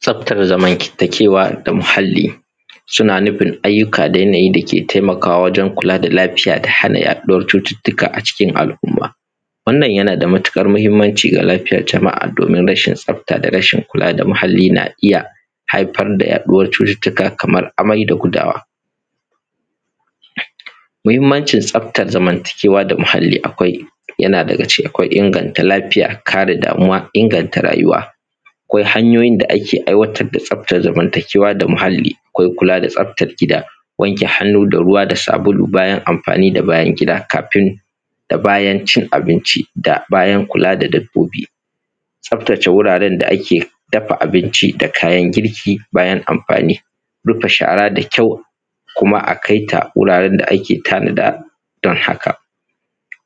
Tsaftar zamantakewa da muhalli suna nufin ayyuka da yanayi da ke taimakawa wajen kula da lafiya da hana yaɗuwar cututtuka a cikin al’umma. Wannan yana da matuƙar muhimmanci ga lafiyar jama’a domin rashin tsafta da rashin kula da muhalli na iya haifar da yaɗuwar cututtuka kamar amai da gudawa. Muhimmanci tsaftar zamantakewa da muhalli akwai: yana daga ciki akwai inganta lafiya, kare damuwa, inganta rayuwa. Akwai hanyoyin da ake aiwatar da tsaftar zamantakewa da muhalli, akwai kula da tsaftar gida, wanke hannu da ruwa da sabulu bayan amfani da bayan gida, kafin da bayan cin abinci da bayan kula da dabbobi. Tsaftace wuraren da ake dafa abinci da kayan girki, bayan amfani. Rufe shara da kyau kuma a kai ta wuraren da ake tanada. Don haka,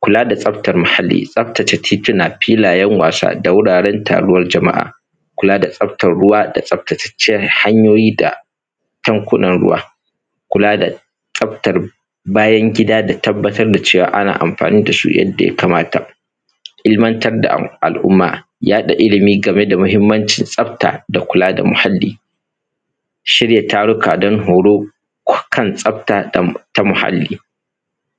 kula da tsaftar muhalli, tsaftace tituna, filayen wasa da wuraren taruwar jama’a, kula da tsaftar ruwa da tsaftatattun hanyoyi da tankunan ruwa, kula da tsaftar bayan gida da tabbatar da cewa ana amfani da su yadda ya kamata. Ilimantar da al’umma, yaɗa ilimi game da muhimmancin tsafta da kula da muhalli, shirya taruka don horo kan tsafta ta muhalli,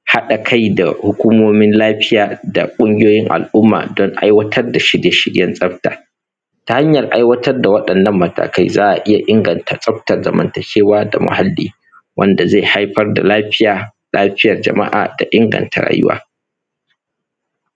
haɗa kai da hukumomin lafiya da ƙungiyoyin al’umma don aiwatar da shirye shiryen tsafta. Ta hanyar aiwatr da waɗannan matakai za a iya inganta tsaftar zamantakewa da muhalli, wanda zai haifar da lafiya, lafiyar jama’a da inganta rayuwa.